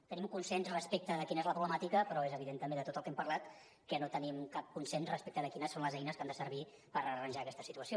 tenim un consens respecte de quina és la problemàtica però és evident també de tot el que hem parlat que no tenim cap consens respecte de quines són les eines que han de servir per arranjar aquesta situació